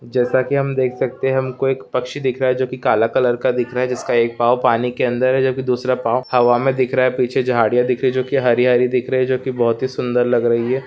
जैसा कि हम देख सकते हैं हमको एक पक्षी दिख रहा जो की काला कलर का दिख रहा है जिसका एक पाव पानी के अंदर है जो कि दूसरा पाव हवा में दिख रहा पीछे झाड़ियां दिख रही जो की हरी हरी दिख रही जो की बहुत ही सुंदर लग रही है।